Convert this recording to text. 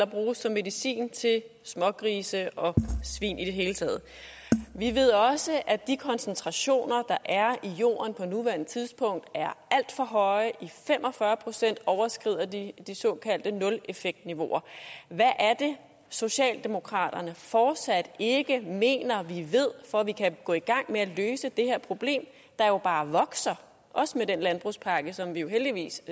bruges som medicin til smågrise og svin i det hele taget vi ved også at de koncentrationer der er i jorden på nuværende tidspunkt er alt for høje i fem og fyrre procent overskrider de de såkaldte nuleffektniveauer hvad er det socialdemokraterne fortsat ikke mener vi ved for at vi kan gå i gang med at løse det her problem der jo bare vokser også med den landbrugspakke som vi jo heldigvis